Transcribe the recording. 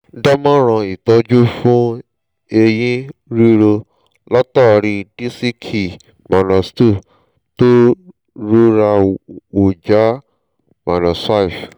dámoọ̀ràn ìtọ́jú fún ẹ̀yìn ríro látàrí i dísìkì l-2 tó rọra wú já l-5